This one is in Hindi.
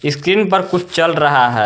स्क्रीन पर कुछ चल रहा है।